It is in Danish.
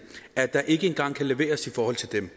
at der ikke engang kan leveres i forhold til dem